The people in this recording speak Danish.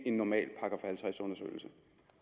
en normal § halvtreds undersøgelse